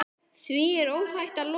Því er óhætt að lofa.